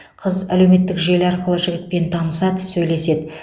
қыз әлеуметтік желі арқылы жігітпен танысады сөйлеседі